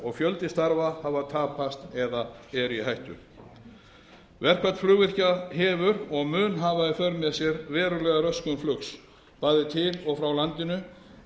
og fjöldi starfa hafa tapast eða eru í hættu verkfall flugvirkja hefur og mun hafa í för með sér verulega röskun flugs bæði til og frá landinu